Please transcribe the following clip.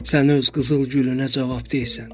Sənin öz qızıl gülünə cavabdehəm.